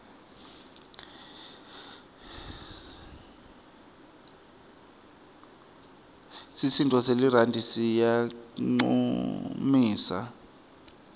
sisinduo selirandi siyancumisa